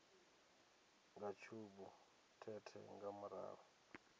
nga tshubu thethe nga murahu